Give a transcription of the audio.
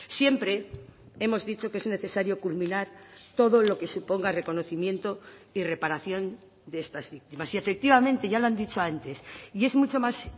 siempre hemos dicho que es necesario culminar todo lo que suponga reconocimiento y reparación de estas víctimas y efectivamente ya lo han dicho antes y es mucho más